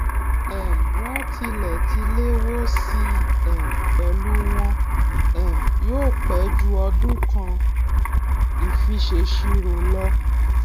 um wón tilè ti léwó sí i um pẹlú wọn um yí ò pé jù ọdún kan ìfisèsirò lo